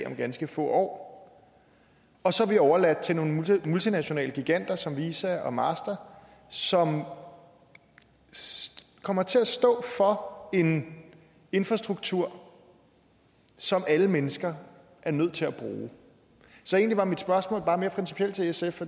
om ganske få år og så er vi overladt til nogle multinationale giganter som visa og master som kommer til at stå for en infrastruktur som alle mennesker er nødt til at bruge så egentlig er mit spørgsmål bare mere principielt til sf